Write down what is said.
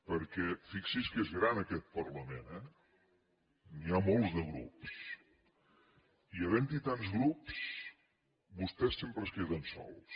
perquè fixi’s que és gran aquest parlament eh n’hi ha molts de grups i havent hi tants grups vostès sempre es queden sols